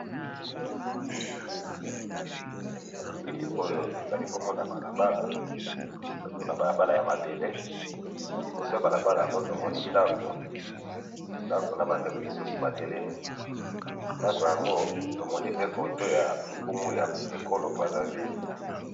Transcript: Na bilili oyo ezali bongo na balabala, bongo na balabala ya mabele, liboso ya balabala yango tomoni ndako, ndako na ba ndeko mosusu ba telelmi, ndako yango tomoni pe photo ya nkumu ya ekolo brazzaville